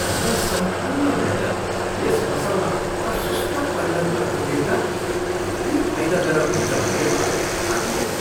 हाम्रा सम्पूर्ण मेहनत यस फसलमा प्रशस्त परिणत भएको देख्दा कति फाइदाजनक हुन्छ भन्ने मलाई थाहा थिएन।